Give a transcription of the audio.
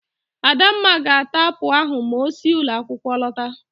Adamma ga-ata apụl ahụ ma osi ụlọakwụkwọ lọta.